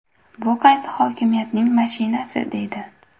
Bu qaysi hokimiyatning mashinasi?”, deydi.